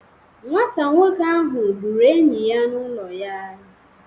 Nwata nwoke ahụ gburu enyi ya n'ụlọ ya